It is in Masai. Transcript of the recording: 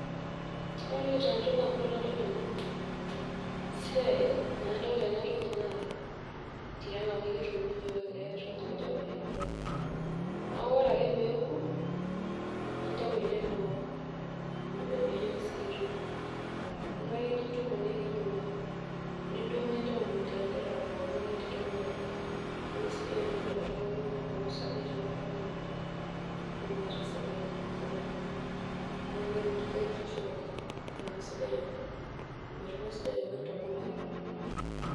Ore entoki nalotu ndamunot tanadol ena esia, tanadol ena toli naa tiang kiun yiok eletoki oji orpaepae, neaku ore ake peoku nintau ele looo sikitoi nilo ake nintuku nidung oriong nintau landerera pookin ninteruru anya amu kesidai oleng toltunganineponaa oleng toltungani omuoi amu meeta sukari sapuk, neaku keretisho oleng na kesidai oleng, ormatundai sidai oleng toltungani.